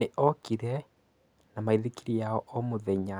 nĩ okĩre na maĩthĩkĩrĩ ya o mũthenya